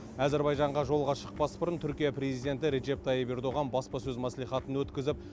әзербайжанға жолға шықпас бұрын түркия президенті реджеп тайып ердоған баспасөз мәслихатын өткізіп